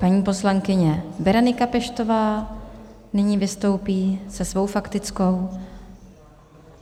Paní poslankyně Berenika Peštová nyní vystoupí se svou faktickou.